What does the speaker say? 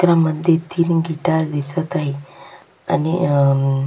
चित्रामध्ये तीन गिटार दिसत आहेत आणि अह --